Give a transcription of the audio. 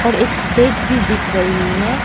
और एक स्टेज भी दिख रही है।